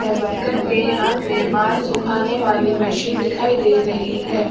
ए worker के हाथ में बाल सुखाने वाली मशीन दिखाई दे रही है।